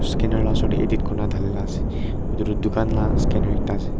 scanner la osor tae edit kurina dhalila ase edu tu dukan la scanner ekta ase.